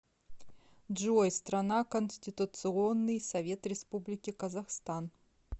джой страна конституционный совет республики казахстан